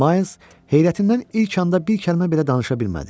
Miles heyrətindən ilk anda bir kəlmə belə danışa bilmədi.